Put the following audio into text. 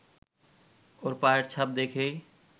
ওর পায়ের ছাপ দেখেই